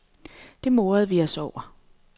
Det morede vi os over.